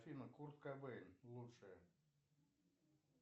афина курт кобейн лучшее